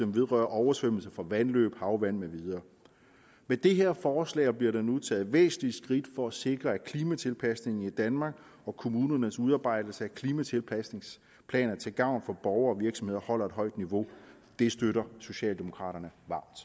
vedrørende oversvømmelser for vandløb havvand med videre med det her forslag bliver der nu taget væsentlige skridt for at sikre at klimatilpasningen i danmark og kommunernes udarbejdelse af klimatilpasningsplaner til gavn for borgere og virksomheder holder et højt niveau det støtter socialdemokraterne